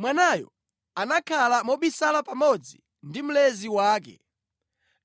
Mwanayo anakhala mobisala pamodzi ndi mlezi wake